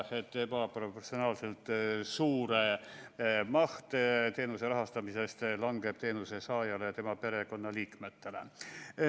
Ebaproportsionaalselt suur maht teenuse rahastamisest langeb teenuse saajale ja tema perekonnaliikmetele.